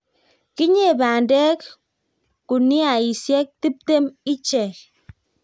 kinyei bandek guniaisiek tiptem ichekei